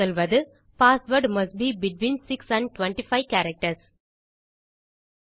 சொல்வது password must be between 6 and 25 characters